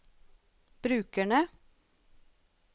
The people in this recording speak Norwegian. brukerne